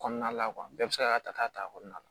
Kɔnɔna la bɛɛ bɛ se k'a ta k'a t'a kɔnɔna na